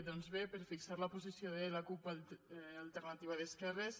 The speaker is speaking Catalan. doncs bé per fixar la posició de la cup alternativa d’esquerres